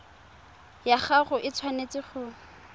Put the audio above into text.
ya gago e tshwanetse go